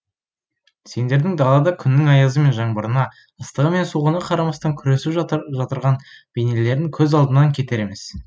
сендердің далада күннің аязы мен жаңбырына ыстығы мен суығына қарамастан күресіп жатырған бейнелерін көз алдымнан кетер емес